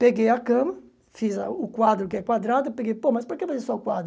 Peguei a cama, fiz a o quadro que é quadrado, peguei, pô, mas para que fazer só o quadro?